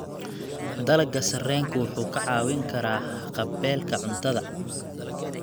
Dalagga sarreenku wuxuu ka caawin karaa haqab-beelka cuntada.